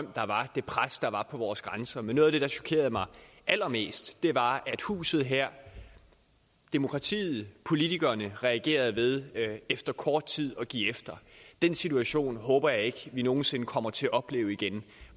og det pres der var på vores grænser men noget af det der er chokerede mig allermest var at huset her demokratiet politikerne reagerede ved efter kort tid at give efter den situation håber jeg ikke vi nogen sinde kommer til at opleve igen